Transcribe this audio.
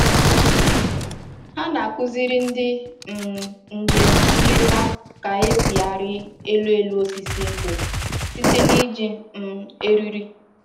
Ha na-akụziri ndị um njem nleta ka-esi arị elu elu osisi nkwụ site n'iji um eriri